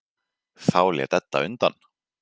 Þá lét Edda undan.